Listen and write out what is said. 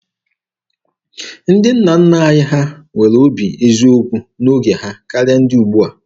Ndị nna nna anyị ha nwere obi eziokwu n'oge ha karịa ndị ugbua.